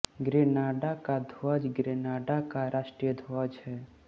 Grenada का ध्वज Grenada का राष्ट्रीय ध्वज है